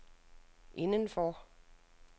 indenfor